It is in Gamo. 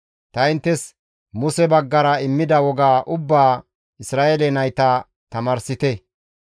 Ta inttes Muse baggara immida woga ubbaa Isra7eele nayta tamaarsite.»